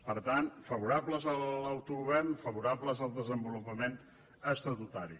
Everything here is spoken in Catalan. per tant favorables a l’autogovern fa·vorables al desenvolupament estatutari